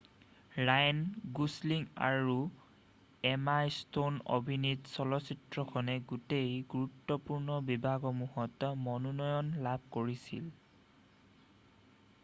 Ryan Gosling আৰু Emma Stone অভিনীত চলচিত্ৰখনে গোটেই গুৰুত্বপূৰ্ণ বিভাগসমূহত মনোনয়ন লাভ কৰিছিল